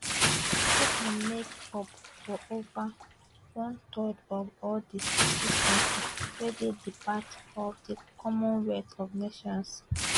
africa make up for ova one third of all di 56 kontris wey dey part of di commonwealth of nations